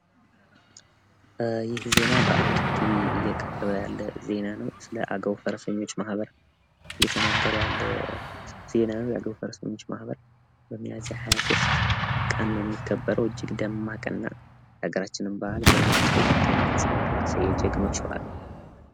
ይህ ዜና ስለ አማራ በአማራ ቲቪ እየቀረበ ያለ ዜና ነው። ስለ አገው ፈረሰኞች ማህበር እየተነገረ ያለ ዜና ነው። የአገው ፈረሰኞች ማህበር በሚያዝያ ሀያ ሶስት የሚከበር በአል ነው። እጅግ ደማቅ እና የአገራችንን በአል በጥሩ ሁኔታ የሚያንጸባርቅ የጀግኖች በአል ነው።